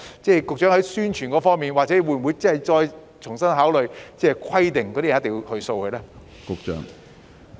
在宣傳方面，局長會否重新考慮，規定市民必須掃描二維碼呢？